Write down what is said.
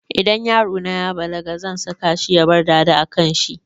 Idan yarona ya balaga zan saka shi ya bar dada a kanshi